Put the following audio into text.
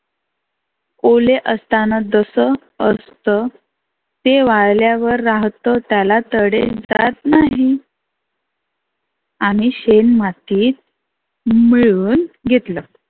ओले असताना कसं असतं. ते वाळल्यावर त्याला तडे जात नाही. आम्ही शेन मातीत मिळवून घेतलं.